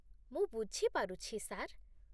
ମୁଁ ବୁଝିପାରୁଛି, ସାର୍ ।